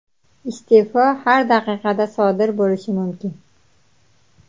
Iste’fo har daqiqada sodir bo‘lishi mumkin.